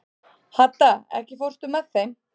Hadda, ekki fórstu með þeim?